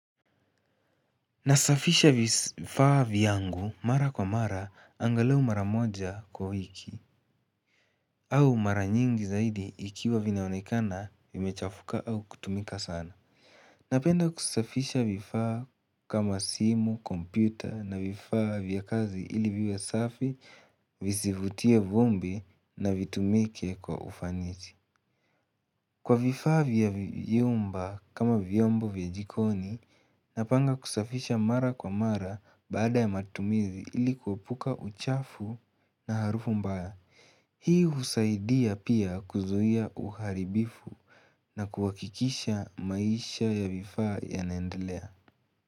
Nasafisha vifaa vyangu mara kwa mara angalau mara moja kwa wiki au mara nyingi zaidi ikiwa vinaonekana vimechafuka au kutumika sana Napenda kusafisha vifaa kama simu, kompyuta na vifaa vya kazi ili viwe safi vizivutie vumbi na vitumike kwa ufanisi Kwa vifaa vya vyumba kama vyombu vya jikoni, napanga kusafisha mara kwa mara baada ya matumizi ili kuepuka uchafu na harufu mbaya. Hii husaidia pia kuzuia uharibifu na kuhakikisha maisha ya vifaa yanendelea.